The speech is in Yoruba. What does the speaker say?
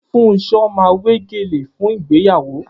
Funso máa wé gèlè fún ìgbéyàwó